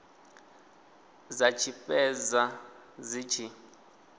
dza tshi fhedza dzi tshi